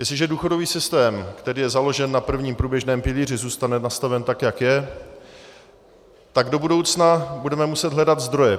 Jestliže důchodový systém, který je založen na prvním průběžném pilíři, zůstane nastaven tak, jak je, tak do budoucna budeme muset hledat zdroje.